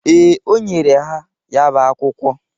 Ee, o nyere ha ya bụ akwụkwọ.